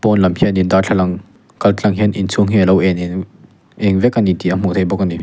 pawn lam khianin darthlalang kaltlang hian inchhung hi a lo en eng vek a ni tih a hmuh theih bawk a ni.